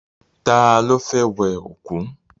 Ta ló fẹ́ wẹ òkú?